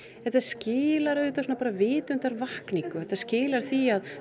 þetta skilar auðvitað bara vitundarvakningu þetta skilar því að